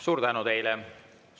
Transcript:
Suur tänu teile!